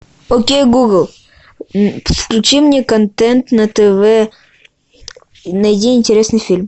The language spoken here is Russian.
окей гугл включи мне контент на тв найди интересный фильм